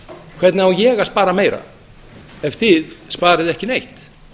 hvernig á ég að spara meira ef þið sparið ekki neitt